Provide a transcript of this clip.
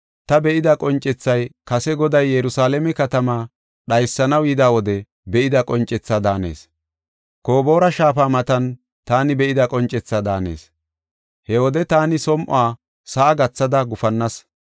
Ta be7ida qoncethay kase Goday Yerusalaame katamaa dhaysanaw yida wode be7ida qoncethaa daanees. Koboora shaafa matan taani be7ida qoncethaa daanees. He wode ta som7uwa sa7a gathada gufannas.